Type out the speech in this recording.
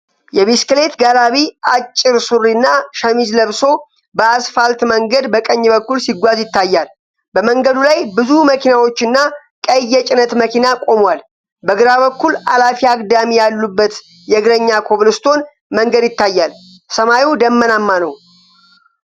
የቢስክሌት ጋላቢ አጭር ሱሪና ሸሚዝ ለብሶ በአስፋልት መንገድ በቀኝ በኩል ሲጓዝ ይታያል። በመንገዱ ላይ ብዙ መኪናዎችና ቀይ የጭነት መኪና ቆመዋል። በግራ በኩል አላፊ አግዳሚ ያሉበት የእግረኛ ኮብልስቶን መንገድ ይታያል። ሰማዩ ደመናማ ነው።